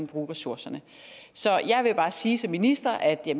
bruge ressourcerne så jeg vil bare sige som minister at jeg